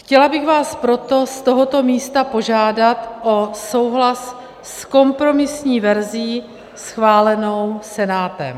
Chtěla bych vás proto z tohoto místa požádat o souhlas s kompromisní verzí schválenou Senátem.